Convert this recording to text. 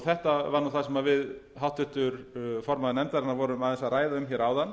þetta var það sem við háttvirtur formaður nefndarinnar vorum aðeins að ræða um áðan